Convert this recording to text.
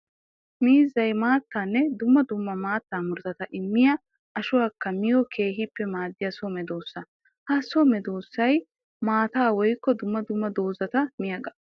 Miizzay maattanne dumma dumma maatta murutatta immiya ashuwakka miyo keehippe maadiyabso medosa. Ha so medosay maataa woykko dumma dumma doozata miyaaga.